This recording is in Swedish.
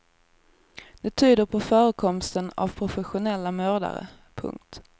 Det tyder på förekomsten av professionella mördare. punkt